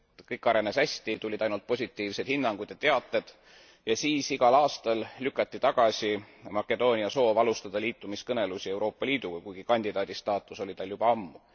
Kõik arenes hästi, tulid ainult positiivsed hinnangud ja teated ja siis igal aastal lükati tagasi Makedoonia soov alsutada liitumiskõnelusi Euroopa Liiduga, kuigi kandidaadistaatus oli tal juba ammu.